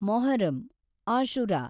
Muharram, Ashura